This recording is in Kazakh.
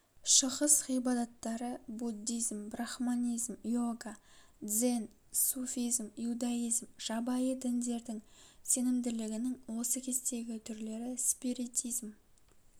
шығыс ғибадаттары буддизм брахманизм йога дзен суфизм иудаизм жабайы діндердің сенімділігінің осы кездегі түрлері спиритизм